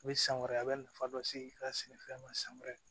U bɛ san wɛrɛ a bɛ nafa dɔ se i ka sɛnɛfɛn ma san wɛrɛ